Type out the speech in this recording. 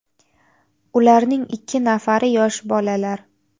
Ularning ikki nafari yosh bolalar.